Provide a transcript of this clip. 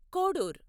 Kodur